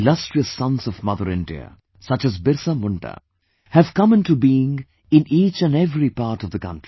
Illustrious sons of Mother India, such as BirsaMunda have come into being in each & every part of the country